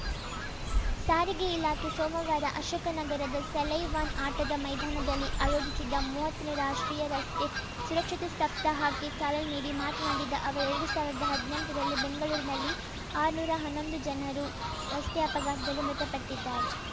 ಸಾರಿಗೆ ಇಲಾಖೆ ಸೋಮವಾರ ಅಶೋಕನಗರದ ಸೈಲೈವಾನ್‌ ಆಟದ ಮೈದಾನದಲ್ಲಿ ಅಯೋಜಿಸಿದ್ದ ಮೂವತ್ತನೇ ರಾಷ್ಟ್ರೀಯ ರಸ್ತೆ ಸುರಕ್ಷತಾ ಸಪ್ತಾಹಕ್ಕೆ ಚಾಲನೆ ನೀಡಿ ಮಾತನಾಡಿದ ಅವರು ಎರಡು ಸಾವಿರದ ಹದ್ನೆಂಟರಲ್ಲಿ ಬೆಂಗಳೂರಿನಲ್ಲಿ ಆರ್ನೂರಾ ಹನ್ನೊಂದು ಜನರು ರಸ್ತೆ ಅಪಘಾತದಲ್ಲಿ ಮೃತಪಟ್ಟಿದ್ದಾರೆ